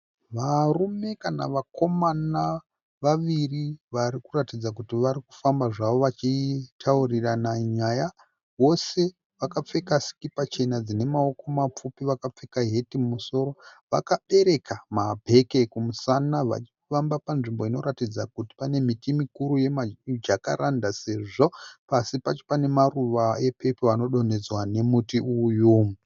Varume kana vakomana vaviri vari kuratidza kuti vari kufamba zvavo vachitauririrana nyaya. Vose vakapfeka sikipa chena dzine maoko mapfupi vakapfeka heti mumusoro. Vakabereka mabheke kumusana vachifamba panzvimbo inoratidza kuti pane miti mukuru yemiJacaranda sezvo pasi pacho pane maruva epepuru anodonhedzwa nemuti uyu.